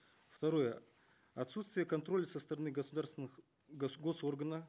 второе отсутствие контроля со стороны государственных гос органа